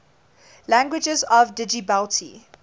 languages of djibouti